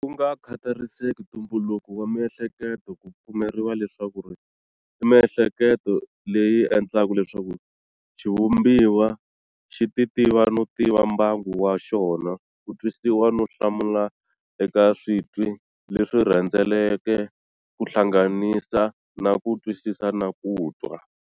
Kunga khatariseki ntumbuluko wa mihleketo, ku pfumeriwa leswaku imihleketo leyi endlaka leswaku xivumbiwa xi titiva no tiva mbangu wa xona, kutwisisa no hlamula eka switwi leswi rhendzeleke, kuhlanganisa na kutwisisa na kutwa.